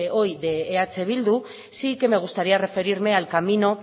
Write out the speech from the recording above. hoy de eh bildu sí que me gustaría referirme al camino